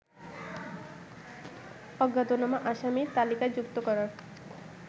অজ্ঞাতনামা আসামির তালিকায় যুক্ত করার